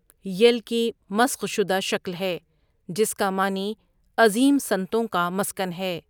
یل کی مسخ شدہ شکل ہے جس کا معنی 'عظیم سنتوں کا مسکن' ہے۔